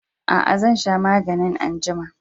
Aa, zan sha maganin anjima.